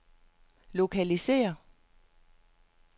lokalisér